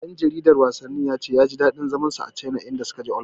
Ɗan jaridar wasannin ya ce zai ji daɗin zaman sa a Caina idan suka je Olamfik.